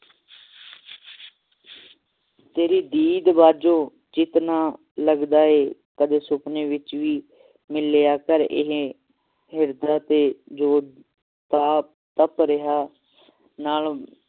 ਤੇਰੀ ਦੀਦ ਬਾਜੋ ਚਿੱਤ ਨਾ ਲਗਦਾ ਏ ਕਦੇ ਸੁਪਨੇ ਵਿਚ ਵੀ ਮਿਲ ਲਿਆ ਕਰ ਇਹ ਹਿਰਦਾ ਤੇ ਜੋ ਤਾਪ ਤਪ ਰਿਹਾ ਨਾਲੋਂ